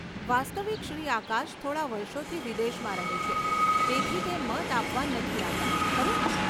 વાસ્તવિક શ્રી આકાશ થોડા વર્ષોથી વિદેશમાં રહે છે, તેથી તે મત આપવા નથી આવ્યા, ખરું ને?